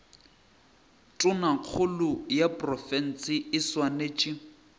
tonakgolo ya profense e swanetše